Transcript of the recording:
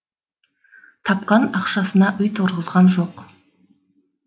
тапқан ақшасына үй тұрғызған жоқ